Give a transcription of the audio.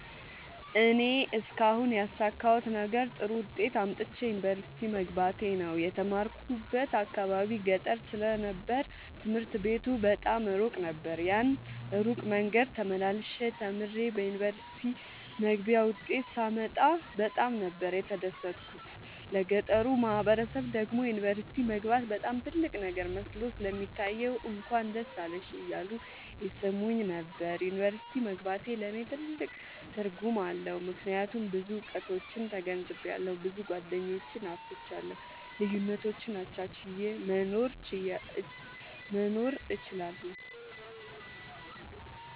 እኔ እስካሁን ያሣካሁት ነገር ጥሩ ዉጤት አምጥቼ ዩኒቨርሲቲ መግባቴ ነዉ። የተማርኩበት አካባቢ ገጠር ስለ ነበር ትምህርት ቤቱ በጣም እሩቅ ነበር። ያን እሩቅ መንገድ ተመላልሸ ተምሬ የዩኒቨርሲቲ መግቢያ ዉጤት ሳመጣ በጣም ነበር የተደሠትኩት ለገጠሩ ማህበረሠብ ደግሞ ዩኒቨርሲቲ መግባት በጣም ትልቅ ነገር መስሎ ስለሚታየዉ እንኳን ደስ አለሽ እያሉ ይሥሙኝ ነበር። ዩኒቨርሢቲ መግባቴ ለኔ ትልቅ ትርጉም አለዉ። ምክያቱም ብዙ እዉቀቶችን ተገንዝቤአለሁ። ብዙ ጎደኞችን አፍርቻለሁ። ልዩነቶችን አቻችየ መኖር እችላለሁ።